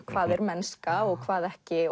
hvað er mennska og hvað ekki